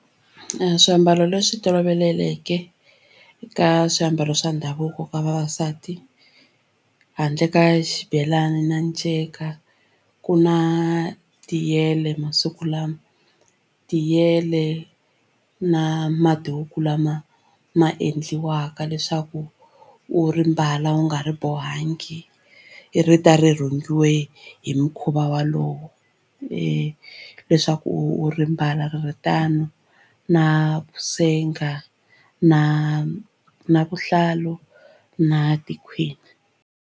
Swiambalo leswi tolovelekeke ka swiambalo swa ndhavuko ka vavasati handle ka xibelani na nceka ku na tiyele masiku lama tiyele na maduku lama ma endliwaka leswaku u ri mbala wu nga ri bohangi ri ta ri rhungiweke hi mukhuva va walowo e leswaku u ri mbala ri ri tano na vusenga na na vuhlalu na tikhwini.